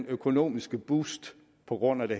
økonomiske boost på grund af det